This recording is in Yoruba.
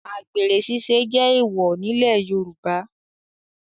Àgbèrè ṣiṣẹ́ jẹ́ èwọ̀ nílẹ̀ Yorùbá